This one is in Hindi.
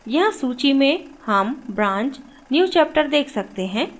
यहाँ सूची में हम branch newchapter देख सकते हैं